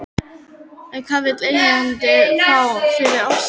En hvað vill eigandinn fá fyrir Ofsa?